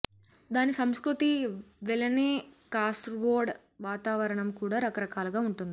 దాని సంస్కృతి వలెనె కాసర్గోడ్ వాతావరణం కూడా రక రకాలుగా వుంటుంది